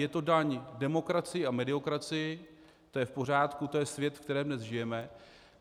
Je to daň demokracii a mediokracii, to je v pořádku, to je svět, ve kterém dnes žijeme.